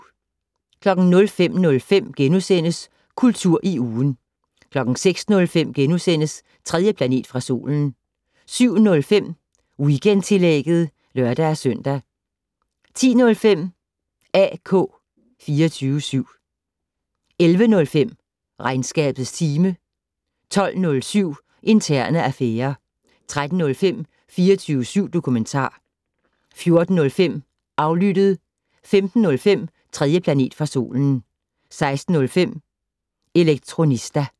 05:05: Kultur i ugen * 06:05: 3. planet fra solen * 07:05: Weekendtillægget (lør-søn) 10:05: AK 24syv 11:05: Regnskabets time 12:07: Interne affærer 13:05: 24syv dokumentar 14:05: Aflyttet 15:05: 3. planet fra solen 16:05: Elektronista